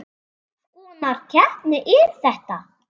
Hvers konar keppni er þetta?